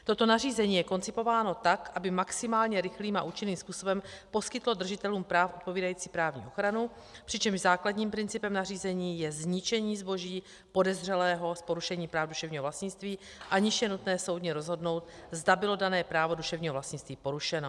Toto nařízení je koncipováno tak, aby maximálně rychlým a účinným způsobem poskytlo držitelům práv odpovídající právní ochranu, přičemž základním principem nařízení je zničení zboží podezřelého z porušení práv duševního vlastnictví, aniž je nutné soudně rozhodnout, zda bylo dané právo duševního vlastnictví porušeno.